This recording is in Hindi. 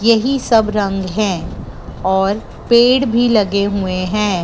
यही सब रंग हैं और पेड़ भी लगे हुए हैं।